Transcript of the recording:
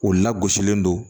U lagosilen don